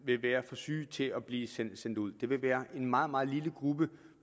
vil være for syge til at blive sendt sendt ud det vil være en meget meget lille gruppe